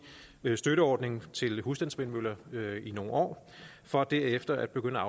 støtteordning til husstandsvindmøller i nogle år for derefter at begynde